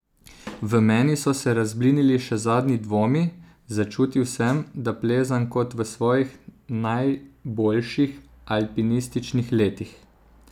V meni so se razblinili še zadnji dvomi, začutil sem, da plezam kot v svojih najboljših alpinističnih letih!